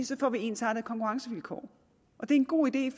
så får vi ensartede konkurrencevilkår det er en god idé